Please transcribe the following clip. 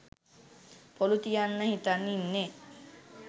පොලු තියන්න හිතන් ඉන්නෙ.